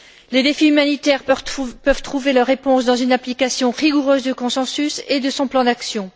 Les défis humanitaires peuvent trouver leur réponse dans une application rigoureuse du consensus et de son plan d'action.